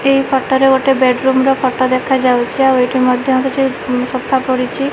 ଏହି ଫଟ ରେ ଗୋଟେ ବେଡ ରୁମର ଫଟ ଦେଖାଯାଉଛି। ଆଉ ଏଠି ମଧ୍ଯ କିଛି ସୋଫା ପଡିଛି।